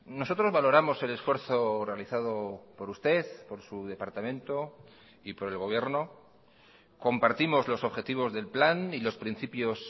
nosotros valoramos el esfuerzo realizado por usted por su departamento y por el gobierno compartimos los objetivos del plan y los principios